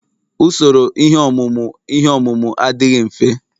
Usoro ihe ọmụmụ ihe ọmụmụ ihe adịghị mfe